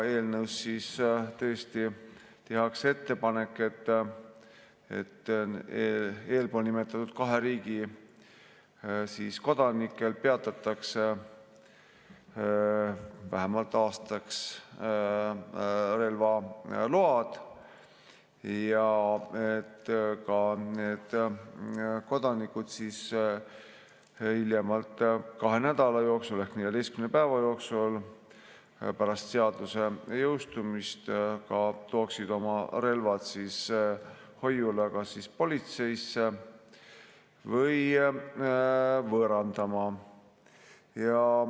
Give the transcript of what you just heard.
Eelnõus tehakse ettepanek, et eelpool nimetatud kahe riigi kodanike relvaload peatataks vähemalt aastaks ja ka need kodanikud hiljemalt kahe nädala jooksul ehk 14 päeva jooksul pärast seaduse jõustumist peaksid tooma oma relvad hoiule kas politseisse või võõrandama.